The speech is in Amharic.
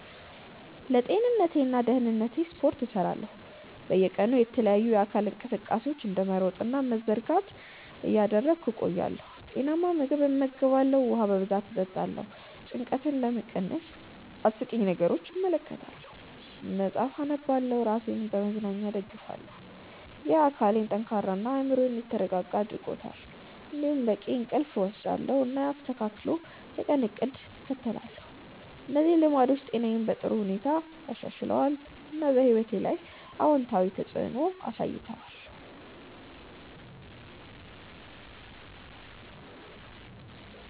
ለጤንነቴና ደህንነቴ ስፖርት እሰራለሁ፣ በየቀኑ የተለያዩ የአካል እንቅስቃሴዎችን እንደ መሮጥ እና መዘርጋት እያደረግሁ እቆያለሁ። ጤናማ ምግብ እመገባለሁ፣ ውሃ በብዛት እጠጣለሁ። ጭንቀትን ለመቀነስ አስቂኝ ነገሮችን እመለከታለሁ፣ መጽሐፍ አነባለሁ እና ራሴን በመዝናኛ እደግፋለሁ። ይህ አካሌን ጠንካራ እና አእምሮዬን የተረጋጋ አድርጎኛል። እንዲሁም በቂ እንቅልፍ እወስዳለሁ፣ እና አስተካክል የቀን እቅድ እከተላለሁ። እነዚህ ልማዶች ጤናዬን በጥሩ ሁኔታ አሻሽለዋል፣ እና በሕይወቴ ላይ አዎንታዊ ተፅዕኖ አሳይተዋል።